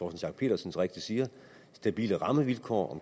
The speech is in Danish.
schack pedersen så rigtigt siger stabile rammevilkår